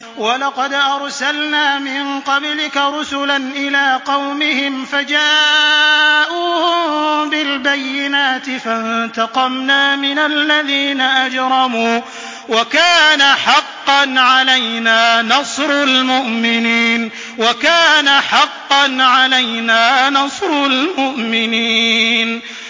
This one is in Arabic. وَلَقَدْ أَرْسَلْنَا مِن قَبْلِكَ رُسُلًا إِلَىٰ قَوْمِهِمْ فَجَاءُوهُم بِالْبَيِّنَاتِ فَانتَقَمْنَا مِنَ الَّذِينَ أَجْرَمُوا ۖ وَكَانَ حَقًّا عَلَيْنَا نَصْرُ الْمُؤْمِنِينَ